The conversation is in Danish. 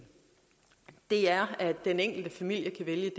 det er at den enkelte familie kan vælge